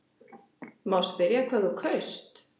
Má spyrja hvað þú kaust?